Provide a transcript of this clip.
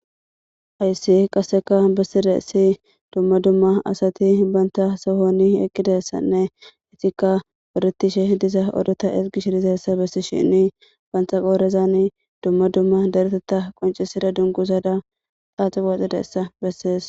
ayssi qasseka bessida essi dumma dumma asati banta sohoni eqqidassanne itikka oretishe diza odota ergish diza essa bessi shinni banta qoorezan dumma dumma daretota qoncisida dunguzada xaaxi waxidaessa bessees